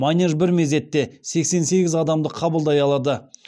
манеж бір мезетте сексен сегіз адамды қабылдай алады